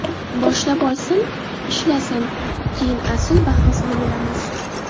Boshlab olsin, ishlasin, keyin asl bahosini beramiz.